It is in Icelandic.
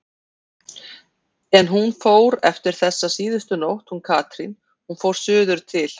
En hún fór eftir þessa síðustu nótt hún Katrín, hún fór suður til